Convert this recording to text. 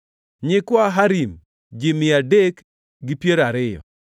nyikwa Harim, ji mia adek gi piero ariyo (320),